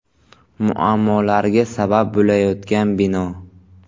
Muammolarga sabab bo‘layotgan bino.